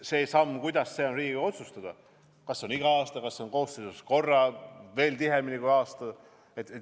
See samm, kuidas, on Riigikogu otsustada: kas see on iga aasta, kas see on koosseisus korra või veel tihedamini kui kord aastas.